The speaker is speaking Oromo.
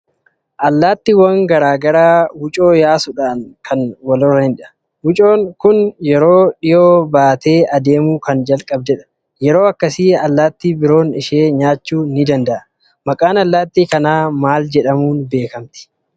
Allaattiwwan garaa garaa wucoo yaasuudhaan kan wal horanidha. Wucoon kun yeroo dhiyoo baatee adeemuu kan jalqabdedha. Yeroo akkasi allaattii biroon ishee nyaachuu ni dnada'a. maqaan allaattii kanaa maal jedhamuun beekamti?